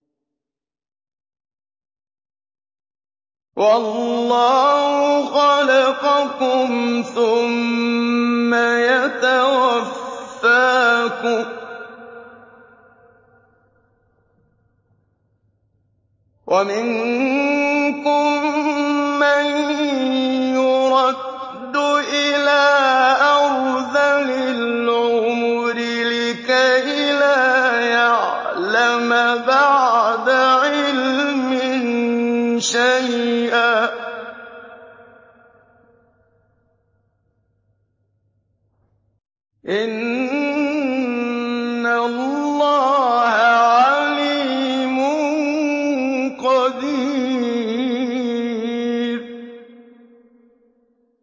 وَاللَّهُ خَلَقَكُمْ ثُمَّ يَتَوَفَّاكُمْ ۚ وَمِنكُم مَّن يُرَدُّ إِلَىٰ أَرْذَلِ الْعُمُرِ لِكَيْ لَا يَعْلَمَ بَعْدَ عِلْمٍ شَيْئًا ۚ إِنَّ اللَّهَ عَلِيمٌ قَدِيرٌ